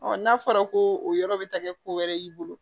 n'a fɔra ko o yɔrɔ bi taa kɛ ko wɛrɛ y'i bolo